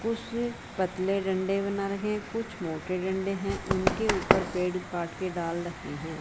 कुछ पतले डंडे बना रखे हैं कुछ मोटे डंडे हैं उनके ऊपर पेड़ काट के डाल रखे हैं।